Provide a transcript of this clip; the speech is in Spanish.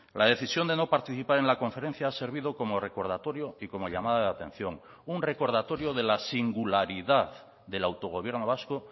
la decisión de no participar en la conferencia ha servido como recordatorio y como llamada de atención un recordatorio de la singularidad del autogobierno vasco